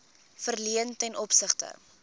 verleen ten opsigte